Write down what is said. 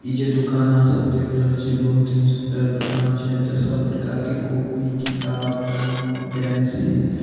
इ जे दुकान आहां सब देख रहल छिये बहुत ही सुंदर दुकान छै एते सब प्रकार के कॉपी किताब कलम पेंसिल --